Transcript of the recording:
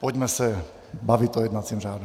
Pojďme se bavit o jednacím řádu.